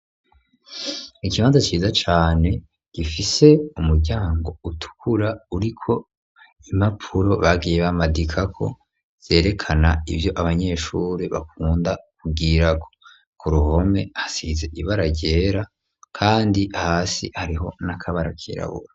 Ikibanza ciza cane gifise umuryango utukura uriko imapuro bagiye bamadikako zerekana ivyo abanyeshuri bakunda kugwirako ku ruhome hasize ibara ryera, kandi hasi hariho n'akabara kirabura.